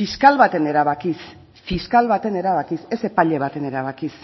fiskal baten erabakiz fiskal baten erabakiz ez epaile baten erabakiz